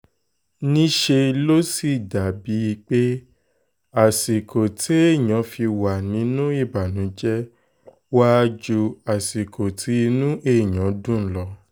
níṣẹ́ ló sì dà bíi pé àsìkò téèyàn fi wà nínú ìbànújẹ́ wàá ju àsìkò tí inú èèyàn dùn lọ